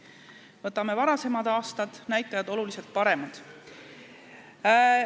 Kui võtame varasemad aastad, siis tookord olid näitajad oluliselt paremad.